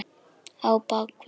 Á bak við